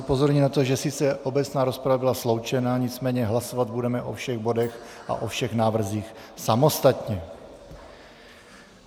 Upozorňuji na to, že sice obecná rozprava byla sloučena, nicméně hlasovat budeme o všech bodech a o všech návrzích samostatně.